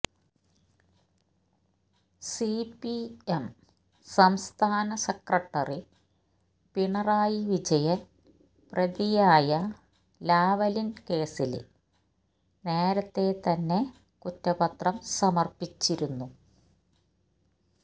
C P M സംസ്ഥാന secretary Pinarayi Vijayan പ്രതിയായ Lavalin കേസില് നേരത്തെ തന്നെ കുറ്റപത്രം സമര്പ്പിച്ചിരുന്നു